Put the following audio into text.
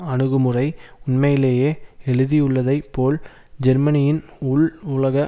அணுகுமுறை உண்மையிலேயே எழுதியுள்ளதைப் போல் ஜெர்மனியின் உள் உலக